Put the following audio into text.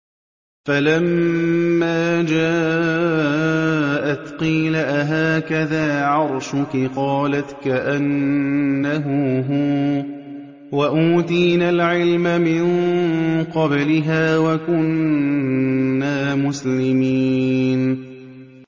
فَلَمَّا جَاءَتْ قِيلَ أَهَٰكَذَا عَرْشُكِ ۖ قَالَتْ كَأَنَّهُ هُوَ ۚ وَأُوتِينَا الْعِلْمَ مِن قَبْلِهَا وَكُنَّا مُسْلِمِينَ